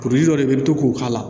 dɔ de bɛ to k'o k'a la